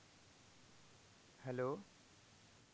hello.